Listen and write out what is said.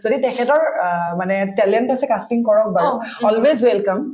যদি তেখেতৰ অ মানে talent আছে casting কৰক বাৰু always welcome